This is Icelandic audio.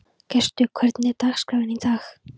Gestur, hvernig er dagskráin í dag?